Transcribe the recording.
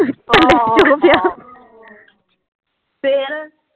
ਫੇਰ